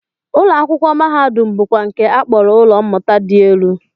Ụlọakwụkwọ mahadum bụkwa nke a kpọrọ ụlọ mmụta dị elu